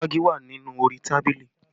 Ìfági wà nínú orí tábìlì